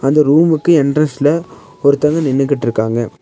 இந்த ரூமுக்கு என்ட்ரன்ஸ்ல ஒருத்தங்க நின்னுகிட்ருக்காங்க.